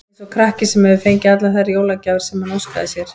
Eins og krakki, sem hefur fengið allar þær jólagjafir sem hann óskaði sér.